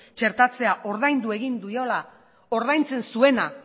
txertatzea ordaindu egin diola ordaintzen zuena